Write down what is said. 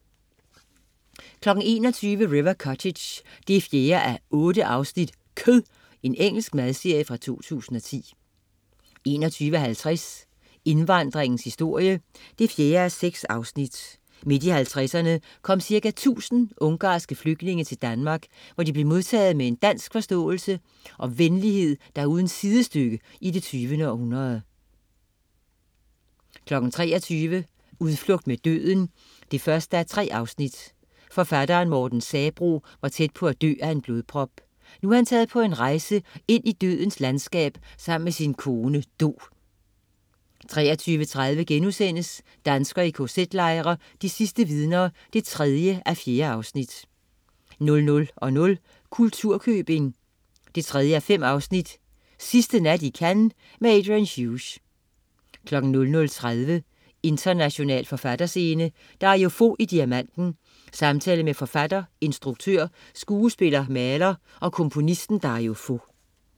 21.00 River Cottage 4:8. Kød. Engelsk madserie fra 2010 21.50 Indvandringens historie 4:6. Midt i 50'erne kom cirka 1000 ungarske flygtninge til Danmark, hvor de blev modtaget med en dansk forståelse og venlighed, der er uden sidestykke i det 20. århundrede 23.00 Udflugt mod døden 1:3. Forfatteren Morten Sabroe var tæt på at dø af en blodprop. Nu er han taget på en rejse ind i dødens landskab sammen med sin kone, Do 23.30 Danskere i kz-lejre. De sidste vidner 3:4* 00.00 Kulturkøbing 3:5. Sidste nat i Cannes? Adrian Hughes 00.30 International forfatterscene: Dario Fo i Diamanten. Samtale med forfatter, instruktør, skuespiller, maler og komponisten Dario Fo